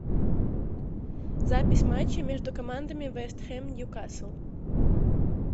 запись матча между командами вест хэм ньюкасл